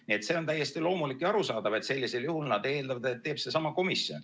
Nii et see on täiesti loomulik ja arusaadav, et sellisel juhul nad eeldavad, et teeb seesama komisjon.